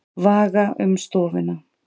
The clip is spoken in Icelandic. Vaga um stofuna.